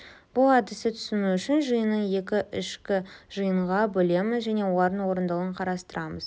бұл әдісті түсіну үшін жиынын екі ішкі жиынға бөлеміз және олардың орындалуын қарастырамыз